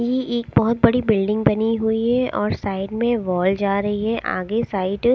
ये एक बहुत बड़ी बिल्डिंग बनी हुई है और साइड में वॉल जा रही है आगे साइड ।